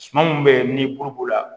Suma min bɛ yen ni buru b'o la